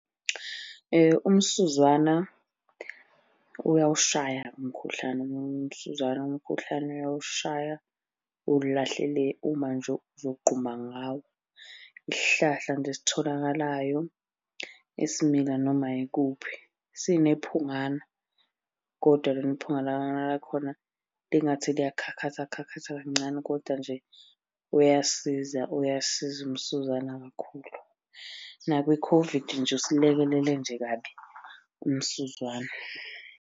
Umsuzwana uyawushaya umkhuhlane. Umsuzwana umkhuhlane uyawushaya uwulahle le uma nje uzogquma ngawo. Isihlahla nje esitholakalayo, esimila noma yikuphi. Sinephungana, kodwa lona iphunga lakhona lingathi liyakhakhatha khakhatha kancane kodwa nje uyasiza uyasiza umsuzwana kakhulu. Nakwi-COVID nje usilekelele nje kabi umsuzwana.